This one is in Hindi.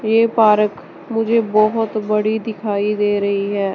ये पारक मुझे बहोत बड़ी दिखाई दे रही है।